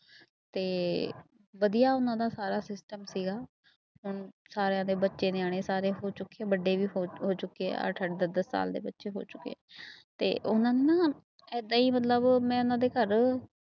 ਤੇ ਵਧੀਆ ਉਹਨਾਂ ਦਾ ਸਾਰਾ system ਸੀਗਾ ਹੁਣ ਸਾਰਿਆਂ ਦੇ ਬੱਚੇ ਨਿਆਣੇ ਸਾਰੇ ਹੋ ਚੁੱਕੇ ਆ ਵੱਡੇ ਵੀ ਹੋ ਹੋ ਚੁੱਕੇ ਆ ਅੱਠ ਅੱਠ ਦਸ ਦਸ ਸਾਲ ਦੇ ਬੱਚੇ ਹੋ ਚੁੱਕੇ ਤੇ ਉਹਨਾਂ ਨੂੰ ਨਾ ਏਦਾਂ ਹੀ ਮਤਲਬ ਮੈਂ ਉਹਨਾਂ ਦੇ ਘਰ